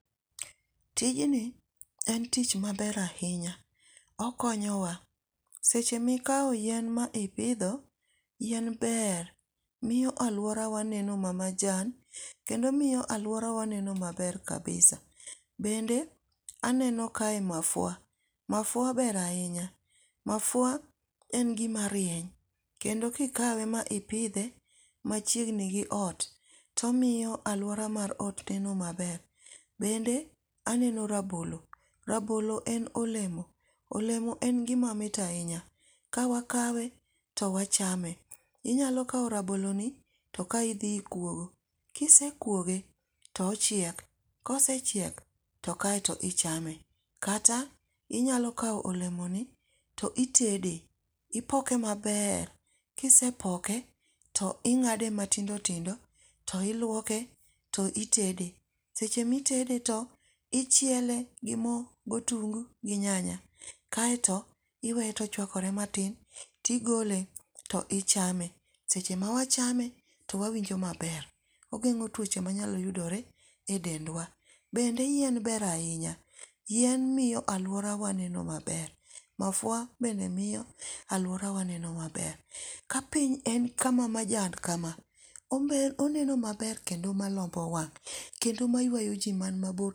Tijni en tich maber ahinya. Okonyowa. Seche ma ikawo yien ma ipidho, yien ber, miyo alworawa neno ma majan, kendo miyo alworawa neno maber kabisa. Bende aneno kae mafua. Mafua ber ahinya. Mafua en gima rieny kendo kikawe ma ipidhe machiegni gi ot. To omiyo alwora mar ot neno maber. Bende aneno Rabolo. Rabolo en olemo. olemo en gima mit ahinya. Ka wakawe to wachame. Inyalo kawo rabolo ni, to kae idhi ikwogo. Kisekwoge to ochiek. Kosechiek, to kaeto ichame. Kata inyalo kawo olemoni to itede. Ipoke maber, kisepoke to ingáde matindo tindo, to ilwoke to itede. Seche ma itede to ichiele gi mo, gi otungu gi nyanya. Kaeto, iwee to ochwakore matin, tigole, to ichame. Seche ma wachame to wawinjo maber. Ogengó twoche manyalo yudore e dendwa. Bende yien ber ahinya. Yien miyo alworawa neno maber. Mafua bende miyo alworawa neno maber. Ka piny en kama majan kama oneno maber kendo malombo wang', kendo ma ywayo ji mani mabor.